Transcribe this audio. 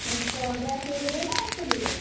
Gas କରିବେ ନା ଚୂଲିରେ?